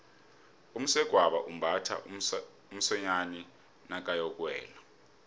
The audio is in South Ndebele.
umsegwabo umbatha umsonyani nakayokuwela